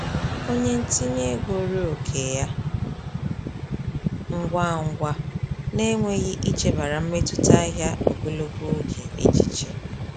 Onye ntinye ego ree oke ya ngwa ngwa n’enweghị ichebara mmetụta ahịa ogologo oge echiche.